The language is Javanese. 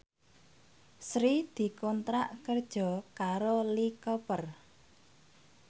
Sri dikontrak kerja karo Lee Cooper